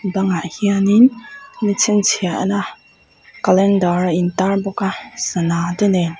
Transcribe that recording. bang ah hianin chhinchhiah na calendar a in tar bawk a sana te nen--